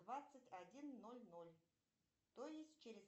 двадцать один ноль ноль то есть через